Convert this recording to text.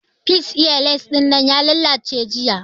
Fish eye lens dinnan ya lallace jiya